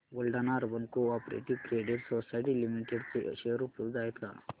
Buldhana urban cooperative credit society limited चे share उपलब्ध आहेत का